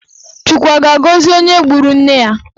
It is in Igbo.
Chukwu a ga-agọzi onye gburu nne ya?